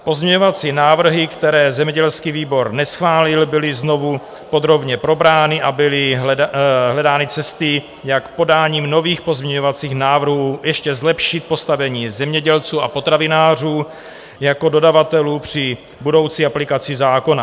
Pozměňovací návrhy, které zemědělský výbor neschválil, byly znovu podrobně probrány a byly hledány cesty, jak podáním nových pozměňovacích návrhů ještě zlepšit postavení zemědělců a potravinářů jako dodavatelů při budoucí aplikaci zákona.